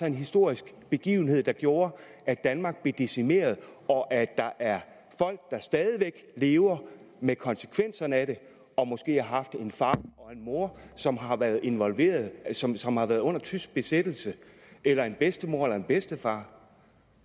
en historisk begivenhed der gjorde at danmark blev decimeret og at der er folk der stadig væk lever med konsekvenserne af det og måske har haft en far og en mor som har været involveret som som har været under tysk besættelse eller en bedstemor eller en bedstefar